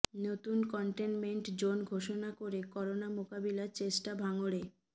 নতুন containment zone ঘোষণা করে করোনা মোকাবিলার চেষ্টা ভাঙড়ে